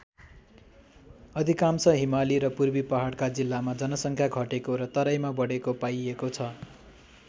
अधिकांश हिमाली र पूर्वी पहाडका जिल्लामा जनसङ्ख्या घटेको र तराईका बढेको पाइएको छ।